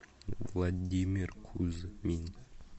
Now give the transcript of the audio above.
владимир кузьмин